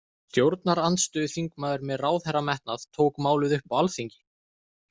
Stjórnarandstöðuþingmaður með ráðherrametnað tók málið upp á alþingi.